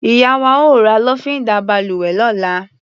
Ìyá wa ó ra lọ́fíndà balùwẹ̀ lọ́la.